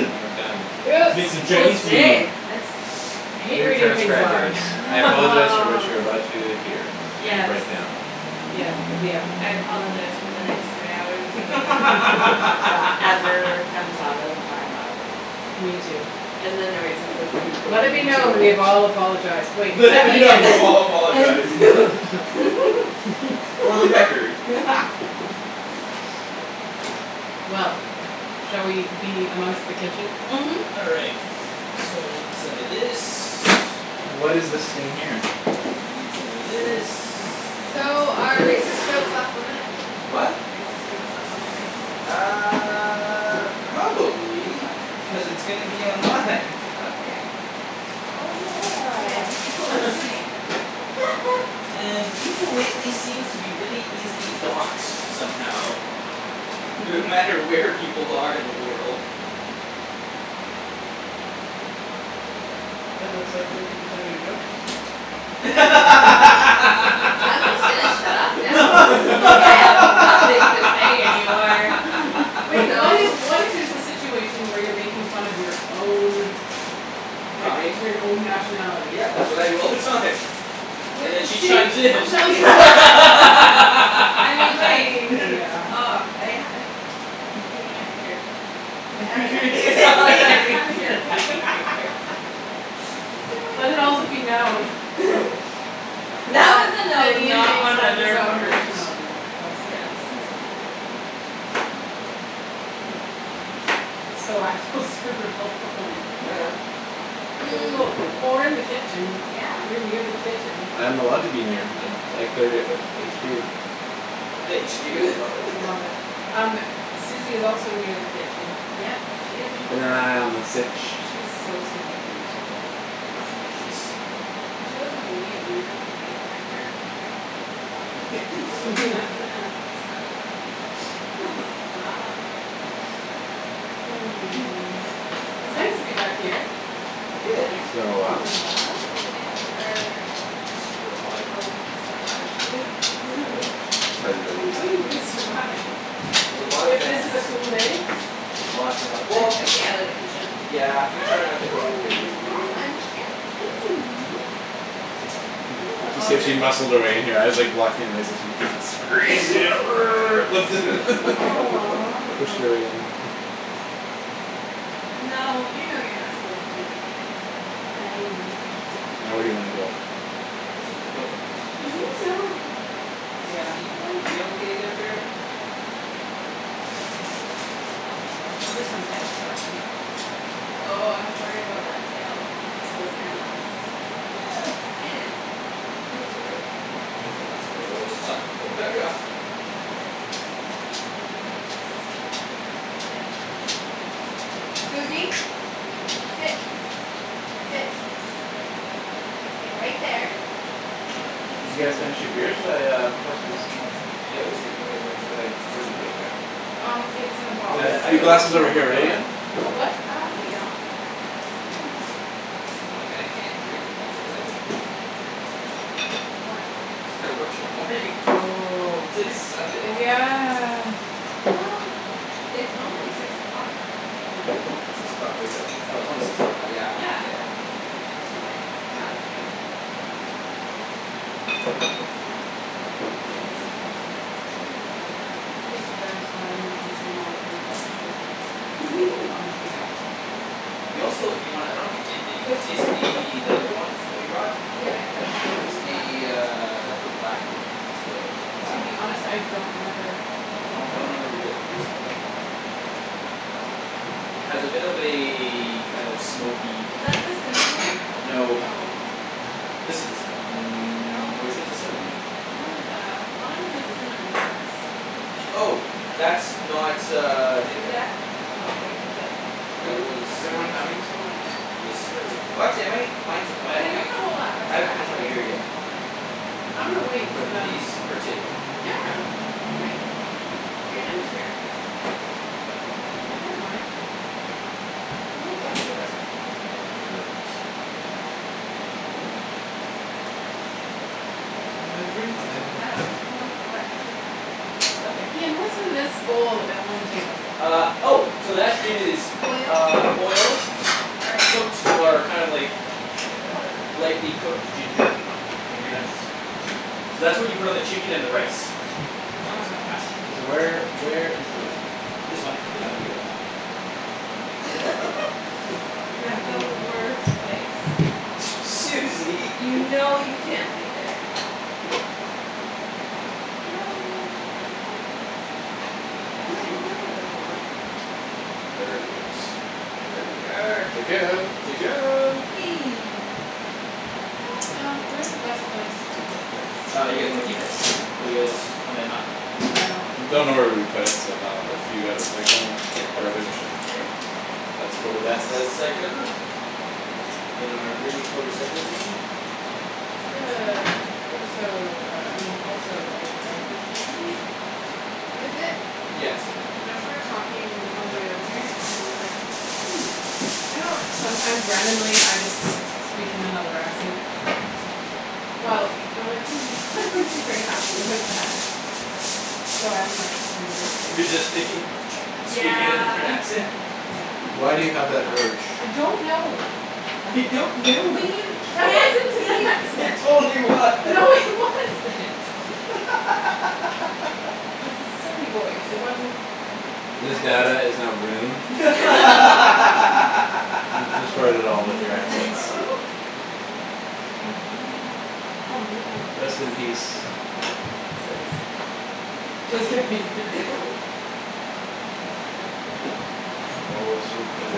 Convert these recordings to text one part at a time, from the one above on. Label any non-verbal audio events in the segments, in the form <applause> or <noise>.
And we're done. Yes! Making Chinese food. <inaudible> That's I hate Dear reading things transcribers aloud. <laughs> I apologize for what you are about to hear and Yes. write down. Yep. Yep. I apologize for the next three hours of <laughs> whatever comes out of my mouth. Me too. And the noises of food Let going it be into known. We it. have all apologized. Wait, Let except it be known. Ian! We've all apologized! For the record. Well. Shall we be amongst the kitchen? Mhm. All right, so I need some of this. What is this thing here? Need some of this, I need So, some of are racist this. jokes off limit? The what? Racist jokes off limit right now? Uh Probably, Okay. cuz it's gonna be online. Okay. Oh Oh yeah, yeah! there's people <laughs> listening. <laughs> And people lately seem to be really easily doxed somehow. <laughs> No matter where people are in the world. Yeah. Hey, that's like fifty percent of your jokes. I'm just gonna shut up now. Like, I have nothing to say any more. Wait, what if, what if <laughs> there's a situation where you're making fun of your own like, Kind? your n- own nationality? Yeah, that's what I do all the time. <inaudible> And then she use chimes this. in. <laughs> I mean, I wait. mean, yeah. oh. I I, give me your finger. <laughs> <inaudible> Just pick my Let it also nose. be known <laughs> That That, was a that nose, Ian makes not fun of his another own part. nationality. Yes. Oh my <inaudible> word. <inaudible> So, I feel super helpful right now. <laughs> <noise> Cool, cool. Well, we're in the kitchen, Yeah. you're near the kitchen. I am allowed to be near, I, I cleared it with HQ. With <laughs> HQ. I love it. Um, Suzie is also near the kitchen. Yep, she is a Keepin' an part of this. eye on the sitch. She is so stinkin' cute today. Oh she's If <inaudible> she wasn't a mute, we would have to make, mic her. Yes! <inaudible> <laughs> <laughs> Oh stop! <noise> Oh Hmm. man. It's nice to be back here. Yeah. Yeah. It's been a It's been while. a little while. Been a little while. In our Super hot. little sweat lodge. Yeah, no doubt. Hello. How do you guys survive? With a lot of If this is a fans. cool day? Lots and lot- well I stay out of the kitchen. Yeah, we try not to cook in the kitchen. Hi, munchkin! Hey, Suzie! She escaped, she muscled her way in here, I was like, blocking her way, so she squeezed in err, lifted <laughs> Aw pushed her way <noise> in. No, you know you're not supposed to be in here. Hi. Now, where do you wanna go? It doesn't know. You <laughs> know. <inaudible> <laughs> Suzie? You okay there, bear? Give her some pets, Joshy. Oh, I'm worried about that tail and those cameras. <noise> I didn't think about that. That's all right. It will be fine. If it knocks it over, well just, like, put it back up! But we can't <inaudible> Suzie! <noise> Sit! Sit! You're gonna stay right there. What? You get to Did you stay guys on the finish your kitchen? beers? Shall I uh <inaudible> pour some whiskey? Yeah, whiskey would be good Where'd actually. I, where'd you put it, Kara? Um, it's in the Oh box. And, yeah, I your gotta glass work is tomorrow over here, morning, right, don't Ian? I? What, what? Uh, no, you don't. Damn. Just pretend you don't. <laughs> Like, I can't drink as much as I would, would like to. Why? Cuz I gotta work tomorrow morning. <laughs> Oh, It's like oh Sunday. yeah. Well it's only six o'clock. Ian. Six o'clock wake-up? Oh it's only six o'clock now. Yeah. Yeah, Yeah, y- yeah. you're okay, to have a few. Yep. Oh you. He has to drive so I'm gonna consume all of what Josh doesn't. Fo- on <laughs> his behalf. We also, if you wanna, I don't know if you ta- you guys taste the, that other one that we brought? Yeah, we have the other one as It's well. the uh that's the black one. That's the Nikka To Black. be honest, I don't remember. I don't, I don't remember if you guys tasted that one. I don't know. That one's, has a bit of a kind of smoky, Is peaty- that the cinnamon one? No. No. This is the ci- , mm, No. which one's the cinnamon one? Someone has a, one of them has a cinnamon <inaudible> Oh! That's not uh Nikka. Oh okay, what's that then? That Who, was is everyone something having else. some right now? Yes, sir. Watch it, mate! Mine's the <inaudible> I I think I'm going to hold off, I still haven't got half finished a my beer beer. yet. K. I'm gonna wait for But them. please, partake. No, no, no, don't wait. If you're done your beer, just Have it if you I don't want. mind. Who Hi is there. that? That's me, that's my alarm for this. Everything. I don't know what to help Nothing. with. Ian, what's in this bowl uh on the table? Ah, oh! So that is Oil. uh oil, Er cooked or kind of like lightly cooked ginger, and green onions. So that's what you put on the chicken and the rice. Yeah, it's fantastic. Wow. K, so where, where is the whiskey? This one is the one you guys bought. <laughs> You have the worst place. Aw. <noise> Suzie! You know you can't lay there. No! I like it. I'm right in the middle of everyone! Perfect. Yeah. There we are. Chicken! Chicken! Chicken! Atika Um, where is the best place to put this? Uh, you guys wanna keep it? Or you guys wanna, not keep it? I don't care? Don't know where we would put it, so no. If you got recycling or garbage? Sure. It's for the best. reh-cycle. In our really full recycle bin. Do you No one have has to know. also uh I mean, also a garbage bin? Is it? Yeah, it's taken out. Josh and I were talking on our way over here, and were like, "Hmm, you know how sometimes randomly, I just speak in another accent?" Well, we were like, "Hmm, they wouldn't be very happy with that." So I'm, like, resisting. Resisting? Speaking in a different Yeah. accent? Yeah. Why do you have that urge? I don't know! I don't know! When you That can't wasn't be an It accent! <laughs> yourself! totally No, it was! <laughs> wasn't! <laughs> <laughs> It was a silly voice. It wasn't an This accent. data is now ruined. <laughs> <laughs> <laughs> You destroyed it Aw, all with your accents. man! <laughs> Aw, man! Oh ma- oh Rest in thanks. peace. Chiz. Just kidding! <laughs> <laughs> Oh, so good.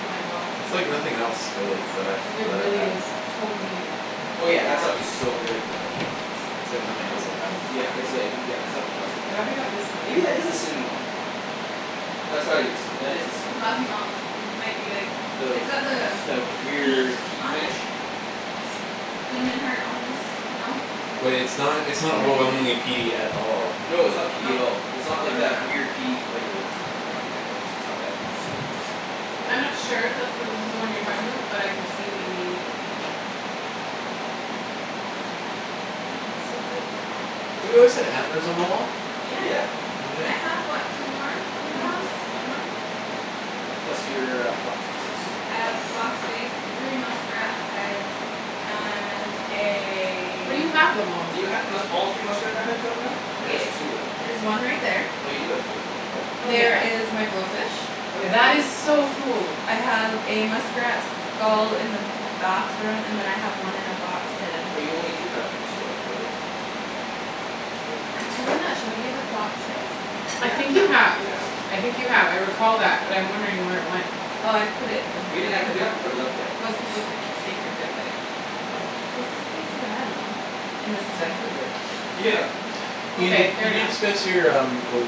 Oh my gosh. That's like nothing else, really, that I've, It that I've really had. is totally unique. Oh yeah, that stuff Yeah. is so good It's though. awesome. It's like nothing else I've had. Yeah, it's like, yeah, it's nothing else like I'm I've glad we had got this too. one, and Maybe not that the is the other cinnamon one. one? That's gotta be the cinna- , that is the cinnamon Coffey one. Malt, might be like, it's got the The, the weird key beak on it? finish? Cinnamon heart almost. No? Wait, it's not, it's not Maybe. overwhelmingly peaty at all. No, it's not peaty at No. all. It's No, not like no, that weird, no. peaty flavor. Not weird, but just it's not that peaty, kinda I'm like- not sure if that's the, this is the one you're talking about, but I could see maybe it being that. Hey, it's so good. Have you always had antlers on the wall? Yeah. Yeah. I have what, two more? In my One house? more. One more? Yep, one more. Plus your uh fox face. I have a fox face, three muskrat heads and Where do a- you have them all? Do you have the musk- all three muskrat uh heads out now? Or just two of them? There's one right there. Oh, you do have three of them out. Oh There yeah? is my blowfish. Oh yeah, and That is blowfish. so cool. I have a muskrat skull in the bathroom, and then I have one in a box, hidden. Oh, you only do have two out of the three. Yeah. <inaudible> thought Have, you have I had all not, shown three you out. the fox face? I think you Yeah, have, you have. I think you have. I recall that but I'm wondering where it went. Oh, I put it in my We didn't ha- , we haven't put it up yet, <inaudible> I most don't people think. creep, get creeped out by it. Oh, its a face of an animal. And this is Vancouver. Yeah. Ian, did, Okay, fair did you enough. discuss your um the,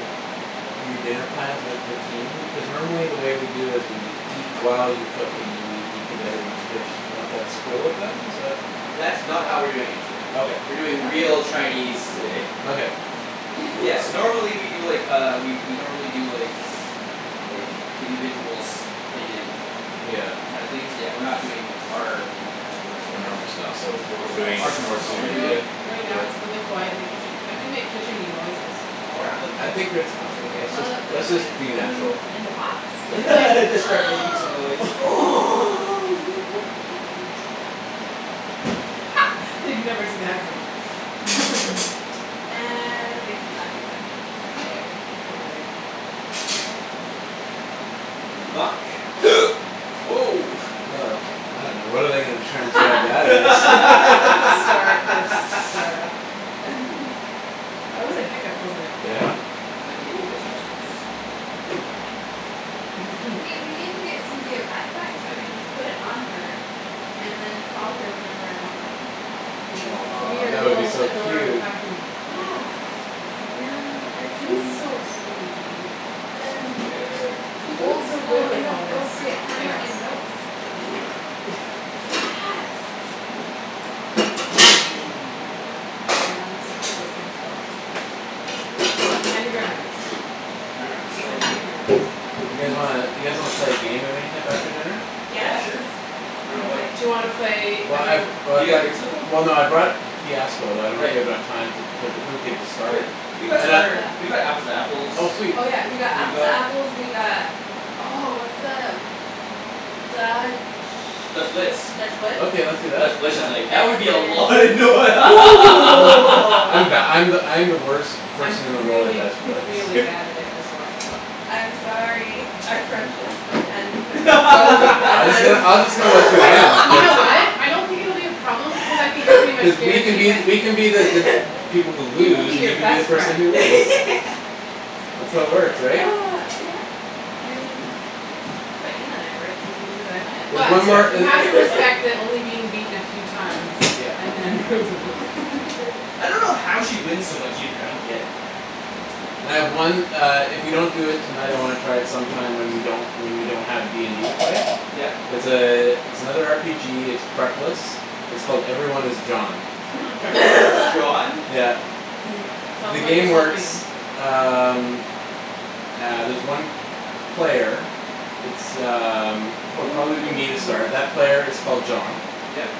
your dinner plans with the team? Because normally the way we do is we eat while you cook and you, we eat together each dish. D'you know if that's cool with them? Is that That's not how we're doing it today. Okay. We're doing Oh real Chinese ooh. today. Okay. Yes, <laughs> normally we do, like, uh we we normally do, like, like, individuals, plated Yeah. kind of things, but we're not doing our particular A type of normal style, so normal what're style, doing is our normal more style, I we're suited feel to, like, doing- right now, with- it's really quiet in the kitchen. I can make kitchen-y noises. Well, we're not cooking I yet. think we're, it's fine. Should we Let's pull just, out the let's just wooden be spoon natural. that's in the pots? <laughs> We Except could for- like Just start making some noise. <noise> oh, we could make a drum band. <laughs> They'd never see that coming. <laughs> And, they come back in ten minutes, and we're fired. Yeah, right. Yeah. Vuck. <noise> Woah! Oh man, now what are they gonna transcribe that as? <laughs> Start, burps, slur. <laughs> <laughs> That was a hiccup, wasn't it? Yeah. I'm gonna give you Ooh this just in that's- case. Yeah. Mhm. See, <laughs> we need to get Suzie a backpack so I can just put it on her and then call her whenever I want my phone. She's like, she'll be Aw, your that would be little so adorable cute. pack mule. Yeah! And I She's can- so sweet. Then- Susie bear. She's doing Old so school good with all this inappropriate hammer chaos. and notes to Ian. Yes! <laughs> Mm. Nana. Grams? What are those things called? What are those called? Candy grams. All right, We so- canned candy grams. You guys wanna, you guys wanna play a game of any type after dinner? Yeah, Yes! sure. I dunno, what- Do you wanna play Well I've, every- Did oh I've you guys got, bring somethin'? well no, I brought Fiasco but I don't know if we Great. have enough time to put the, but we could just start. Great. We've got some And I other, we've got Apples to Oh Apples, we've sweet. Oh yeah, we got Apples To got Apples, we got, oh what's the Dutch, Dutch Blitz. Dutch Blitz? Okay, let's do that, Dutch Blitz is yeah. like, that would be a lot of And noi- then I'm <laughs> the, <laughs> I'm the, I'm the worst I'm person in the world at really Dutch Blitz really bad at it as well. I'm sorry, our friendships might end because I'm so I'm just gonna, competitive. I'm just gonna let you I win, know! You cuz know <laughs> what? I don't think it will be a problem because I think you're pretty cuz much we can guaranteed be, wins. we can be the, the <laughs> people who lose, and you can be the person who wins. <laughs> That's how it works, right? Ah, yeah. I mean that's why Ian and I work, he loses, I win There's But, one more you have uh to respect <laughs> that only being beaten a few times Yep. and then. <inaudible> I don't know how she wins so much either. I don't get it. And I have one uh if we don't do it tonight I wanna try it sometime when we don't, when we don't have D and D to play. Yep. It's a, it's another R P G, it's prep-less, its called 'Everyone Is John.' 'Everyone Is <laughs> John'? Yeah. Tell The them Yes. what you game told works me. um ah there's one player, it's um pro- Ooh, probably will be me to start, that player is called yeah. John. Yep.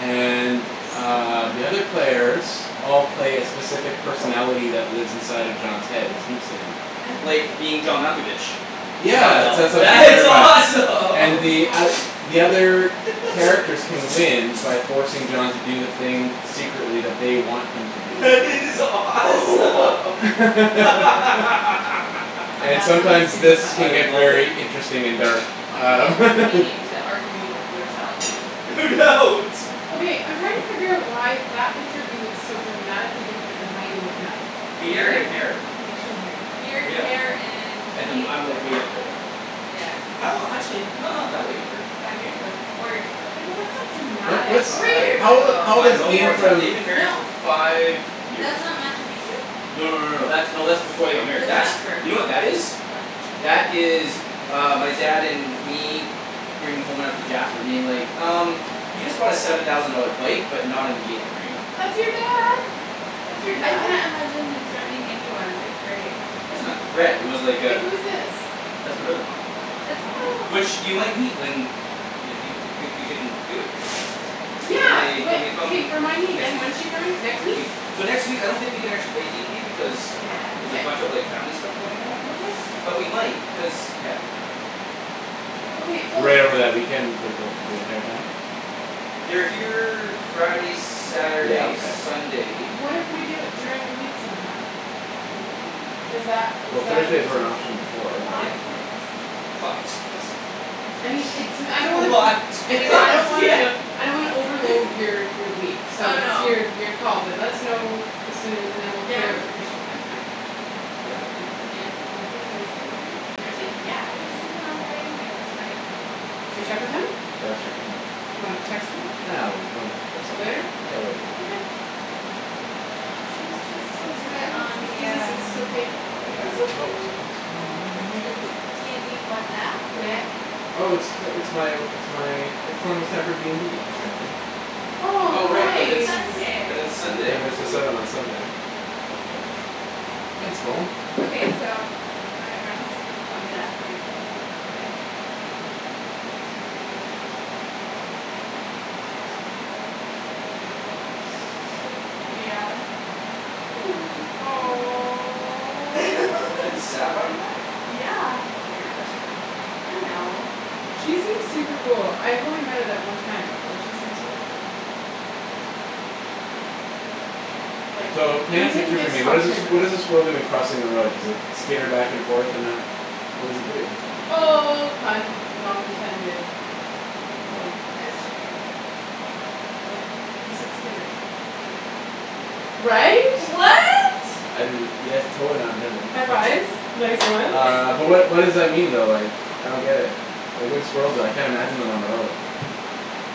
And um, the other Smart. players all play a specific personality that lives inside of John's head and speaks to him. I love it. Like 'Being John Malkovich.' Yeah, Wow, I that's what it's that like is inspired by. it. And the Yes. oth- awesome! the other characters can win by forcing John to do the thing secretly that they want him to <laughs> do. That is awesome! <laughs> <laughs> And That sounds sometimes, super this funny. can I get love it! very interesting and dark. A whole Um. new <laughs> meaning to arguing with yourself. No doubt! Okay, I'm trying to figure out why that picture of you looks so dramatically different than how you look now. Beard and hair. Facial hair. Beard, hair Yeah, and and he- I'm, I'm like way younger there. Yes. How, actually h- no, not that way younger. Five years ago. Four years ago. Yeah, but that's not dramatic. Three Five, years How old i- ago, how old five, is cuz no, we more Ian were- than that. from They've been married No for five years. That's not Machu Picchu? No, no, no, no. That's, no, that's before they got married. That's That's, Jasper. you know what that is? What? That is uh my dad and me bringing home <inaudible> Jasper being like, "Um, you just bought a seven thousand dollar bike, but not an engagement ring." That's your dad! That's your I dad? can't imagine him threatening anyone. It's great. Wasn't a threat, it was like Wait, a- who's this? That's my brother-in-law. That's. <inaudible> Which, you might meet when they, they wou, if we can do it here. When Yeah! they, when they come Remind me next again. week. When's she coming? Next <inaudible> week? So next week, I don't think we can actually play D and D because Yeah. there's K. a bunch of like family stuff going on. Okay. But we might, cuz, yeah, I dunno. Okay, we'll Right over that weekend, like the wh- the entire time? They're here Friday, Yeah, Saturday, okay. Sunday. What if we do it during the week sometime? Oh. Does that, is Well, that a Thursday's were an potential? option before, right? Plot twist. Plot twist. I mean, it's no- , I don't wanna put, Plot I twist! mean, I don't Yeah! wanna, I don't wanna overload <laughs> your your week. So, Oh it's no. your, your call but let us know as soon a- and then we'll Yeah, clear it I'm, with Christian. I'm free. Yeah, I'm free. Yeah. Potentially Thursday, maybe? Thursday? Yeah! I get to sleep in on Friday anyway. That's great. Should we check with him? Yeah, let's check with him. Do you wanna text him? Ah, when, when, at some point. Later? Yeah, later. Okay. She's just <noise> We so could do it on precious! Does the this, is this um okay? Oh yeah. It's okay. Oh! Someone's calling me. the D and D WhatsApp? Who dat? Oh it's t- it's my, it's my, it's telling me it's time for D and D, apparently Oh, Oh how right, Oh, cuz it's, nice! cuz it's it's Sunday. Ten Sunday. minutes til seven on Sunday. Thanks, phone! Okay, so, one of my friends bought me that for my birthday. <noise> Yeah. She knows me pretty well. Didn't <laughs> Aw. Sab buy you that? Yeah! That's one of your best friends, love. I know. She seems super cool. I've only met her that one time, but she seems really cool. Oh yeah? Like, So, paint a we didn't picture for get me. to What talk is a s- very much. what is a squirrel doing crossing the road? Does it skitter back and forth and not, what does it do? Oh, pun not intended. Oh. It's chicken. What? He said skitter. <inaudible> right? Right? I didn't, yes totally not intended. High fives. Nice ones. Uh but what what <inaudible> does that mean though like, I don't get it, like what do squirrels do, I can't imagine on them on the road.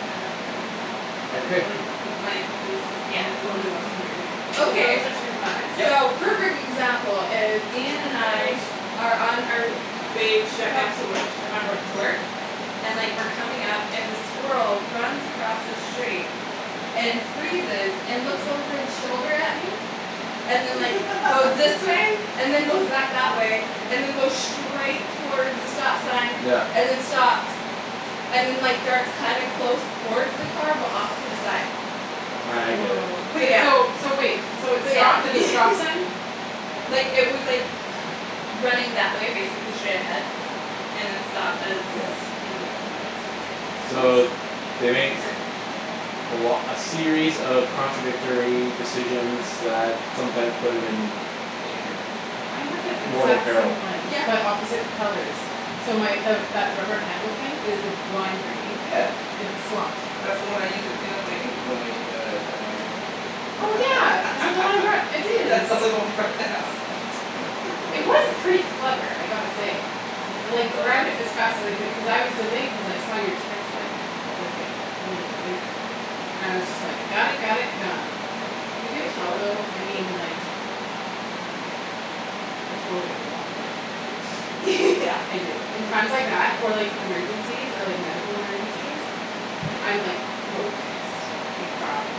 I don't I don't know. okay Uh like <laughs> my it was just I'm yeah totally watching what you're <noise> doing. So Okay, those are chicken thighs? Yep. so perfect example is So Ian chicken and I thighs. are on our Gosh, way it to sure drop me off helps to if wo- you have sharp on wo- knives. to work. And like we're coming up and the squirrel runs across the street and freezes and looks over its shoulder at me, and then like goes <laughs> this way, and then goes back that way and then goes straight towards the stop sign Yeah. and then stops and then like darts kinda close towards the car but off to the side. Ah I get it. Wow. So Wait yeah. so, so wait, so it So yeah stopped that's at the me <laughs> stop sign? Like it was like, running that way basically straight ahead and then stopped as Yeah. and like came back this way. So So that's they make interesting. a lo- a series of contradictory decisions that sometimes put it in Danger. I have So that yeah. mortal exact peril. same one Yeah. but opposite colors. So my the that rubber handle thing is the lime green, Yeah. it That's the one I <inaudible> used to clean up my puke when I uh had a migraine. <laughs> Oh yeah, is that the one I brought, it is. That's the only one you brought down. It was pretty clever, I gotta say. <laughs> I like grabbed it as <inaudible> fast as I could cuz I was delayed cuz I saw your text like like a little bit later and I was just like got it, got it, gone. You can Thanks for tell that, I though, I appreciate it. mean like, I totally have a mom brain. <laughs> Yeah. I do. In times like that, or like emergencies, or like medical emergencies, I'm like focused, I got it.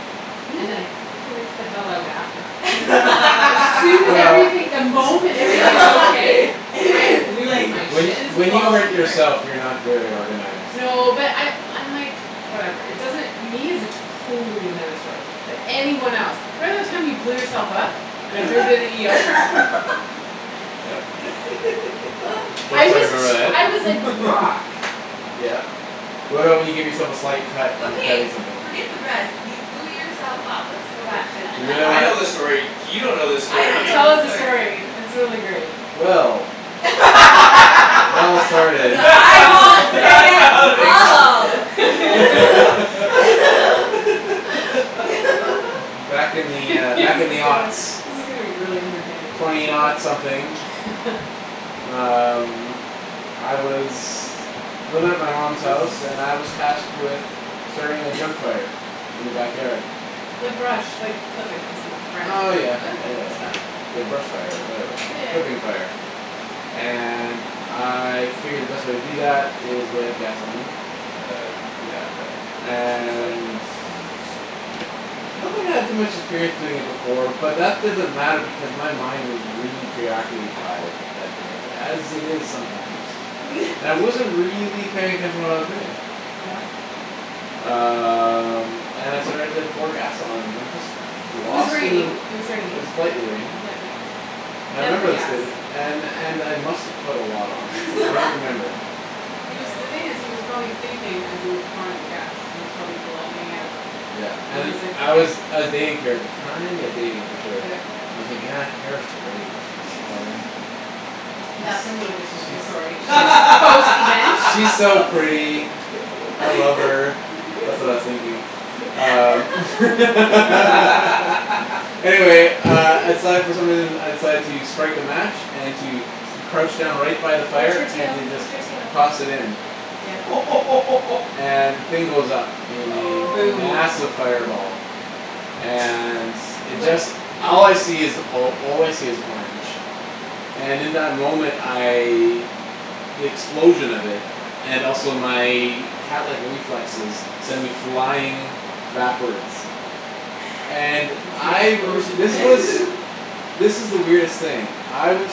And then I <noise> freak the hell out after. As soon as Well everything, <laughs> the <laughs> If moment if everything is everything is okay, okay. I <laughs> <inaudible> lose like my When shit. just when you follow hurt <inaudible> yourself you're not very organized. No but I I'm like, whatever, it doesn't, me is a totally another story, but anyone else. Remember the time you blew yourself up, and I Yeah drove you to the ER? <laughs> <laughs> Yep. <laughs> Of I course I was Okay. remember <noise> that. I was like <laughs> rock. Yeah. What about when you give yourself a slight cut when you're cutting Okay, something? forget the rest. You blew yourself up. Let's go back to You that. really Yeah, <laughs> I wanna know this story, you don't know this I story. don't Tell know this us the story. story, it's really <laughs> great. Well It all <laughs> started The eyeballs say it <laughs> all. <laughs> <laughs> <inaudible> <laughs> Back in <laughs> the, uh, This back in is the gonna <inaudible> this is gonna be really entertaining <inaudible> Twenty <inaudible> something. people. Um I was <noise> living at my mom's house and I was <noise> tasked with starting a junk <noise> fire <noise> in the backyard. Like brush, like clippings and branches Oh and <inaudible> yeah, yeah Okay. yeah and yeah. stuff. The brush fire or whatever, Yeah yeah. clipping fire. And I figured the best way to do It that smells is with amazing. gasoline. With the, Yeah. yeah the with the chicken stuff? And Yeah, Mm. so good. I don't think I had too much experience doing it before but that doesn't matter because my mind was really preoccupied that day, as it is sometimes. And I wasn't <laughs> really paying attention to what I was doing. Yeah. Um and I started to pour gas on and I'm just It was lost in the raining, it was It was raining. lightly raining. Light yep. I Hence the remember this gas. day <inaudible> and and I must've put a lot on, I don't remember. <laughs> He was the thing is <noise> he was probably thinking as he was pouring the gas and it was probably glugging out Yeah and and he's like, I "okay." was I was dating Kara at the time, yeah dating for sure. Yep. And I'm thinking, ah Kara's great <inaudible> <noise> <laughs> That's a new addition She's to she's this story. <inaudible> she's post event? She's so Post event. pretty. I love her, that's what I was thinking. Um <laughs> <laughs> <laughs> <laughs> Anyway uh I <inaudible> decided for some reason I <laughs> decided to strike a match and to crouch down right by the Watch fire your and tail, to just watch your tail. toss it in. Yeah. <laughs> And the thing goes up in a Aw. Boom. massive Oh fireball. my And gosh. You it went just, all I flying. see is all I see is orange. And in that moment I, the explosion of it, and also my catlike reflexes send me flying backwards. And <noise> <inaudible> the I r- this explosion was, <laughs> <laughs> this is the weirdest thing. I was